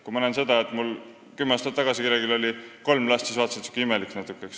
Kui kümme aastat tagasi oli kellelgi kolm last, siis vaatasin, et ta on natuke imelik.